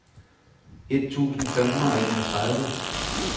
et tusind fem hundrede og enogtredive